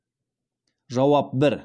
жауап бір